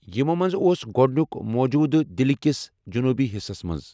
یِمَو منٛز اوس گۄڈٕنیُک موٗجوٗدٕ دِلہِ کِس جنوبی حصس منٛز۔